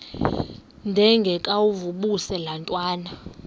ndengakuvaubuse laa ntwana